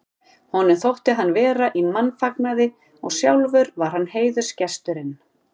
Honum þótti hann vera í mannfagnaði og sjálfur var hann heiðursgesturinn.